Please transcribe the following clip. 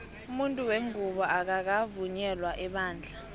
umunfu wengubo akakavunyela ebandla